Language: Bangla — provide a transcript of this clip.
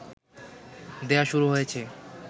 দেয়া শুরু হয়েছে